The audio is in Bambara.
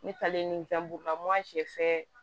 Ne taalen ni gaburulamo